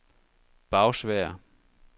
Bagsværd